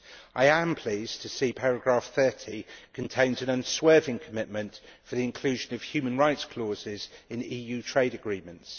I am pleased to see paragraph30 contains an unswerving commitment to the inclusion of human rights clauses in the EU trade agreements.